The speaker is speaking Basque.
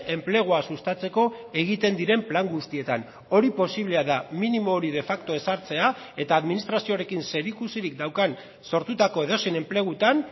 enplegua sustatzeko egiten diren plan guztietan hori posiblea da minimo hori de facto ezartzea eta administrazioarekin zerikusirik daukan sortutako edozein enplegutan